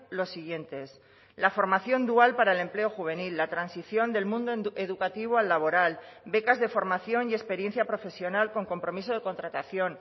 los siguientes la formación dual para el empleo juvenil la transición del mundo educativo al laboral becas de formación y experiencia profesional con compromiso de contratación